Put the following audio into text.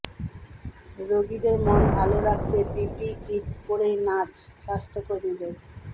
রোগীদের মন ভাল করতে পিপিই কিট পড়েই নাচ স্বাস্থ্যকর্মীদের